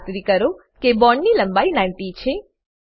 ખાતરી કરો કે બોન્ડ ની લંબાઈ 90 છે